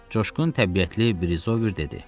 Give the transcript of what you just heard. Coşqun təbiətli Brizover dedi: